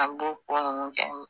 An b'o ko ninnu kɛ